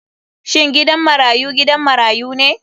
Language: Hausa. Shin gidan marayu gidan marayu ne?